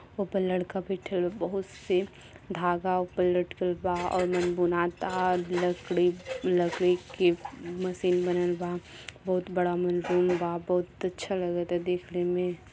ऊपर लड़का बइठल बा। बहुत से धागा ऊपर लटकल बा और मन बुनाता लकड़ी लकड़ी के मशीन बनल बा। बहुत बड़ा ओमन रूम बा। बहुत अच्छा लागता देखने में।